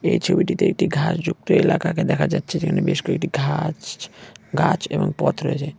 এই ছবিটিতে একটি ঘাসযুক্ত এলাকাকে দেখা যাচ্ছে। যেখানে বেশ কয়েকটি ঘা-আস ছ ছ গাছ এবং পথ রয়েছে।